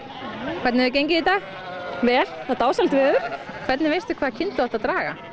hvernig hefur gengið í dag vel það er dásamlegt veður hvernig veistu hvaða kind þú átt að draga